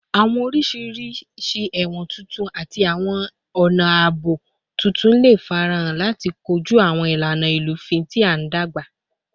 Awọn oriṣi ẹwọn tuntun ati awọn ọna aabo tuntun le farahan lati koju awọn ilana ilufin ti n dagba